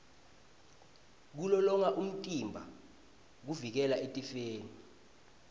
kulolonga umtimba kuvikela etifeni